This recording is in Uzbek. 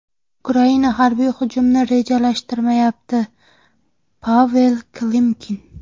Ukraina harbiy hujumni rejalashtirmayapti Pavel Klimkin.